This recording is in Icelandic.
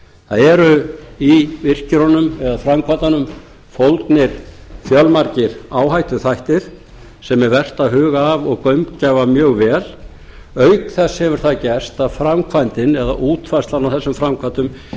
það eru í virkjunum eða framkvæmdunum fólgnir fjölmargir áhættuþættir sem er vert að huga að og gaumgæfa mjög vel auk þess hefur það gerst að framkvæmdin eða útfærslan á þessum framkvæmdum